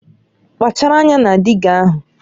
Kpachara anya na dịga ahụ!